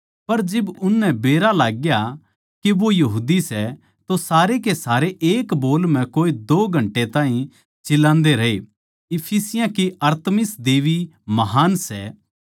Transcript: पर जिब उननै बेरा लागग्या के वो यहूदी सै तो सारे के सारे एक बोल म्ह कोए दो घंटे ताहीं चिल्लान्दे रहे इफिसियाँ की अरतिमिस देबी महान् सै